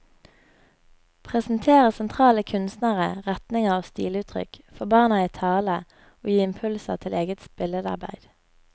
Presentere sentrale kunstnere, retninger og stiluttrykk, få barna i tale og gi impulser til eget billedarbeid.